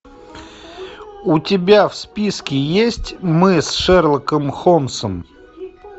у тебя в списке есть мы с шерлоком холмсом